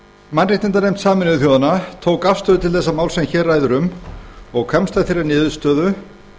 mannréttindanefnd sameinuðu þjóðanna tók afstöðu til þess máls sem hér um ræðir og komst að þeirri niðurstöðu